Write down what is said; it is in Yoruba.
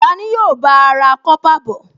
Ta ni yóò bá a ra kọ́pà bọ̀?